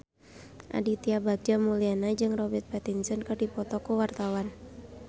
Aditya Bagja Mulyana jeung Robert Pattinson keur dipoto ku wartawan